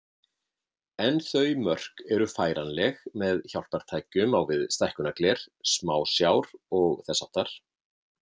En þau mörk eru færanleg með hjálpartækjum á við stækkunargler, smásjár og þess háttar.